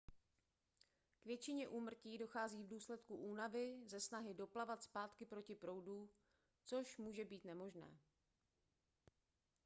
k většině úmrtí dochází v důsledku únavy ze snahy doplavat zpátky proti proudu což může být nemožné